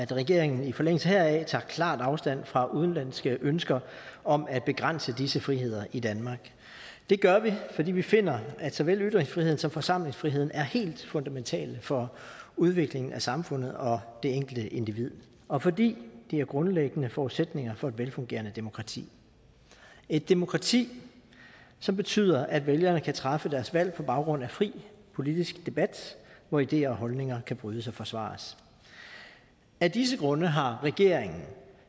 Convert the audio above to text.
regeringen i forlængelse heraf tager klart afstand fra udenlandske ønsker om at begrænse disse friheder i danmark det gør vi fordi vi finder at såvel ytringsfriheden som forsamlingsfriheden er helt fundamentale for udvikling af samfundet og det enkelte individ og fordi det er grundlæggende forudsætninger for et velfungerende demokrati et demokrati som betyder at vælgerne kan træffe deres valg på baggrund af fri politisk debat hvor ideer og holdninger kan brydes og forsvares af disse grunde har regeringen